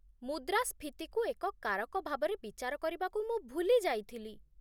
ମୁଦ୍ରାସ୍ଫୀତିକୁ ଏକ କାରକ ଭାବରେ ବିଚାର କରିବାକୁ ମୁଁ ଭୁଲି ଯାଇଥିଲି